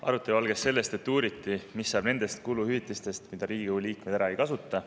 Arutelu algas sellest, et uuriti, mis saab nendest kuluhüvitistest, mida Riigikogu liikmed ära ei kasuta.